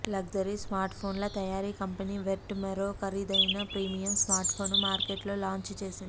luxury స్మార్ట్ఫోన్ల తయారీ company Vertu మరో ఖరీదైన ప్రీమియమ్ స్మార్ట్ఫోన్ను మార్కెట్లో లాంచ్ చేసింది